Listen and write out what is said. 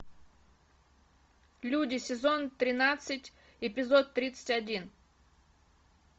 люди сезон тринадцать эпизод тридцать один